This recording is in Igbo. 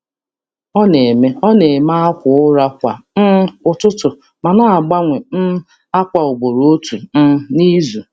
Ọ na-eme akwa ụra kwa ụtụtụ ma na-agbanwe ákwà ugboro otu n’izu.